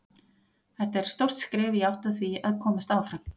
Þetta er stórt skref í átt að því að komast áfram.